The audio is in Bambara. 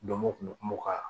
Donmo kun mɛ kuma ka